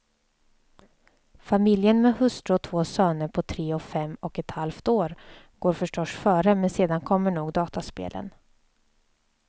Familjen med hustru och två söner på tre och fem och ett halvt år går förstås före men sedan kommer nog dataspelen.